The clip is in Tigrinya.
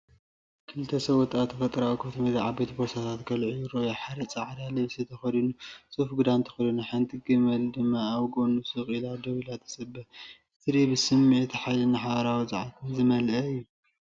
ክልተ ሰብኡት ኣብ ተፈጥሮኣዊ ክፉት ሜዳ ዓበይቲ ቦርሳታት ከልዕሉ ይረኣዩ። ሓደ ጻዕዳ ልብሲ ተኸዲኑ፡ ጽፉፍ ክዳን ተኸዲኑ፡ ሓንቲ ገመል ድማ ኣብ ጎድኑ ስቕ ኢላ ደው ኢላ ትጽበ። እቲ ትርኢት ብስምዒት ሓይልን ሓባራዊ ጸዓትን ዝተመልአ እዩ።